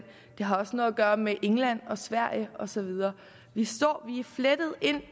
det har også noget at gøre med england og sverige og så videre vi er flettet ind